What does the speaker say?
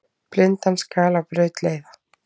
Blindan skal á braut leiða.